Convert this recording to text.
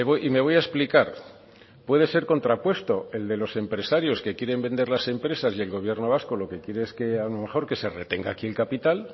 y me voy a explicar puede ser contrapuesto el de los empresarios que quieren vender las empresas y el gobierno vasco lo que quiere es que a lo mejor que se retenga aquí el capital